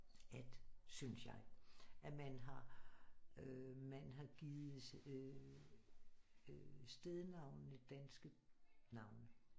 At synes jeg at man har øh man har givet øh stednavnene danske navne